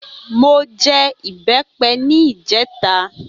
Mo jẹ ìbẹ́pẹ ní ìjẹta